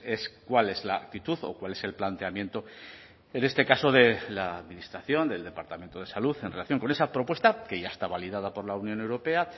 es cuál es la actitud o cuál es el planteamiento en este caso de la administración del departamento de salud en relación con esa propuesta que ya está validada por la unión europea